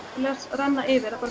renna yfir